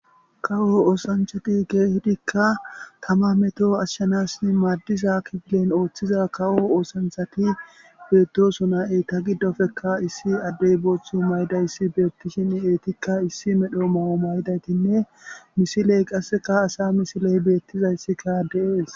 Kawo oosanchati keehidikka tama meto ashshanasi maaddiza kifilen ooththiza kawo oosanthati beettosonna eetta giddoppekka issi addey booththu maydayssi beettishin eettikka issi medho mayo mayidaytinne misiley qasseka asa misiley beettizayssikka de'ees